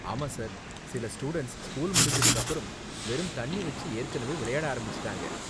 ஆமா சார், சில students school முடிஞ்சதுக்கு அப்பறம் வெறும் தண்ணி வெச்சு ஏற்கனவே விளையாட ஆரம்பிச்சிட்டாங்க!